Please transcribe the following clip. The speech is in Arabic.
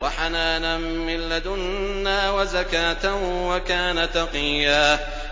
وَحَنَانًا مِّن لَّدُنَّا وَزَكَاةً ۖ وَكَانَ تَقِيًّا